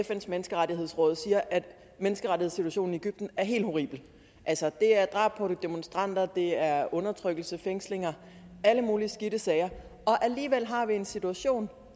fns menneskerettighedsråd siger at menneskerettighedssituationen i egypten er helt horribel altså det er drab på demonstranter det er undertrykkelse fængslinger alle mulige skidte sager alligevel har vi en situation